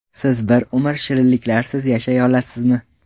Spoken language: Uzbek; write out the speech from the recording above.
Siz bir umr shirinliklarsiz yashay olasizmi?